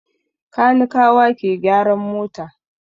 Kanikawa ke gyaran mota.